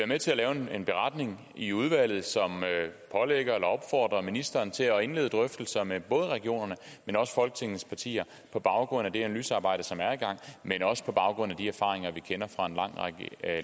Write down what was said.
med til at lave en beretning i udvalget som pålægger eller opfordrer ministeren til at indlede drøftelser med både regionerne men også folketingets partier på baggrund af det analysearbejde som er i gang men også på baggrund af de erfaringer vi kender fra en lang række